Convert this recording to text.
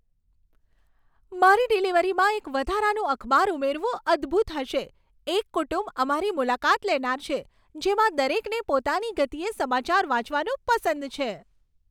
મારી ડિલિવરીમાં એક વધારાનું અખબાર ઉમેરવું અદ્ભુત હશે! એક કુટુંબ અમારી મુલાકાત લેનાર છે, જેમાં દરેકને પોતાની ગતિએ સમાચાર વાંચવાનું પસંદ છે.